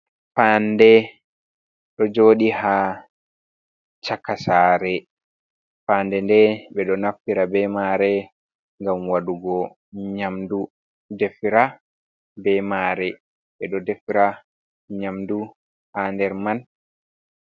Fanɗe ɗo jodi ha chaka saare, faade nde ɓe ɗo naftira be mare ngam waɗugo nyamdu defira be mare, ɓe ɗo defira nyamdu ha nder man.